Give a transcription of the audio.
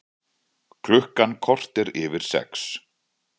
Klukkan korter yfir sex